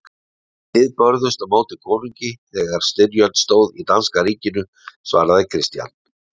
Þið börðust á móti konungi þegar styrjöld stóð í danska ríkinu, svaraði Christian.